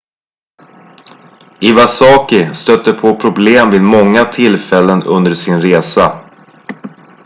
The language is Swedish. iwasaki stötte på problem vid många tillfällen under sin resa